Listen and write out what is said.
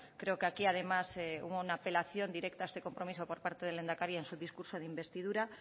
creo que aquí además hubo una apelación directa a este compromiso por parte del lehendakari en su discurso de investidura